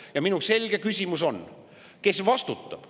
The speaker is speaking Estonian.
Ja minu selge küsimus on: kes vastutab?